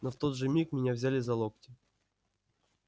но в тот же миг меня взяли за локти